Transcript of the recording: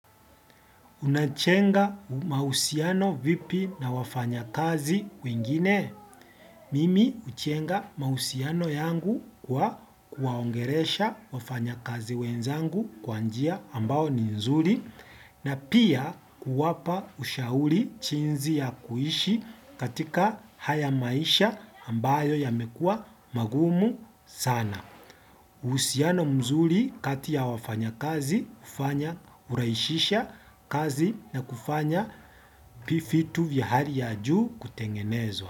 Unajenga mahusiano vipi na wafanyakazi wengine? Mimi hujenga mahusiano yangu kwa kuwaongelesha wafanyakazi wenzangu kwa njia ambayo ni nzuri na pia kuwapa ushauri jinsi ya kuishi katika haya maisha ambayo yamekua magumu sana. Uhusiana mzuri kati ya wafanyakazi, hufanya huraishisha kazi na kufanya vitu vya hali ya juu kutengenezwa.